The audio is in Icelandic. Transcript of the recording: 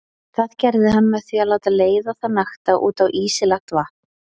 Það gerði hann með því að láta leiða þá nakta út á ísi lagt vatn.